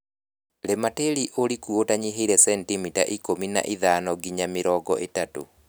Rĩma tĩri ũriku ũtanyihĩire centimita ikũmi na ithano nginya mĩrongo ĩtatũ.